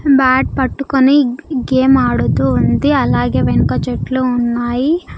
Bat పట్టుకొని game ఆడుతూ ఉంది అలాగే వెనుక చెట్లు ఉన్నాయి.